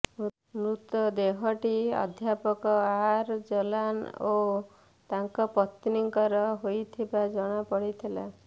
ମୃତଦେହଟି ଅଧ୍ୟାପକ ଆର ଜଲାନ ଓ ତାଙ୍କ ପତ୍ନୀଙ୍କର ହୋଇଥିବା ଜଣାପଡିଥିଲା